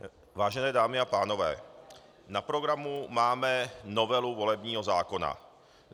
Vážené dámy a pánové, na programu máme novelu volebního zákona.